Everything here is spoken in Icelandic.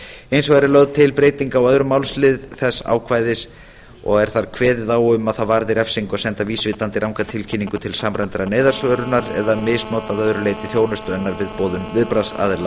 hins vegar er lögð til breyting á öðrum málsl þess ákvæðis og er þar kveðið á um að það varði refsingu að senda vísvitandi ranga tilkynningu til samræmdrar neyðarsvörunar eða að misnota að öðru leyti þjónustu hennar við boðun viðbragðsaðila